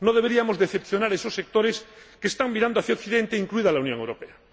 No deberíamos decepcionar a esos sectores que están mirando hacia Occidente, incluida la Unión Europea.